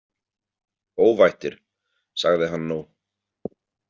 Óvættir, sagði hann nú.